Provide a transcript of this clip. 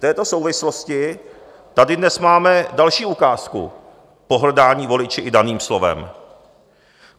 V této souvislosti tady dnes máme další ukázku pohrdání voliči i daným slovem.